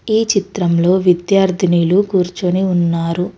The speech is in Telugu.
ఈ చిత్రంలో విద్యార్థినిలు కూర్చోని ఉన్నారు.